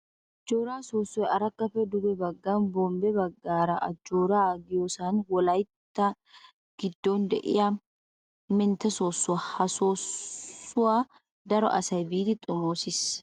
Ajjoora soossoy arakkappe duge baggan bombbe baggaara ajjoora giyoosan wolayitta giddon de'iya mentte soossuwa. Ha soossuwa daro asay biidi xomoosis.